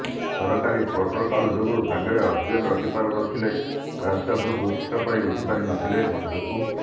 ସରକାରୀ ପ୍ରୋଟୋକଲ ଯୋଗୁ ସାଙ୍ଗରେ ଅକ୍ସିଜେନ ରଖିପାରିନଥିଲେ ରାଜ କପୁର ପୁରସ୍କାର ପାଇଁ ଉଠିପାରିନଥିଲେ ମଞ୍ଚକୁ